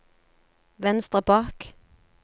venstre bak